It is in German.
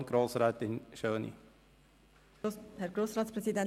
In diesem Sinn: Vielen Dank für Ihren Einsatz!